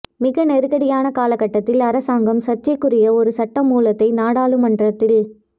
மிக நெருக்கடியான காலகட்டத்தில் அரசாங்கம் சர்ச்சைக்குரிய ஒரு சட்ட மூலத்தை நாடாளுமன்றத்தில்